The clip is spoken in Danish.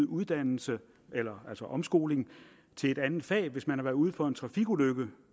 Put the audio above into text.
uddannelse eller omskoling til et andet fag hvis man har været ude for en trafikulykke